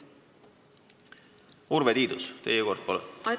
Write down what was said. Urve Tiidus, teie kord, palun!